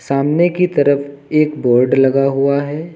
सामने की तरफ एक बोर्ड लगा हुआ है।